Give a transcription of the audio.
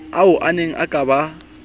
ao aneng a ka ba